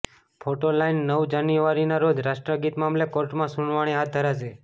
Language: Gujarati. ફોટો લાઈન નવ જાન્યુઆરીના રોજ રાષ્ટ્રગીત મામલે કોર્ટમાં સુનાવણી હાથ ધરાશે